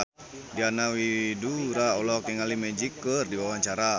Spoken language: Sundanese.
Diana Widoera olohok ningali Magic keur diwawancara